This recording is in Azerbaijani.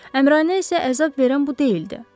Əmrainə isə əzab verən bu deyildi.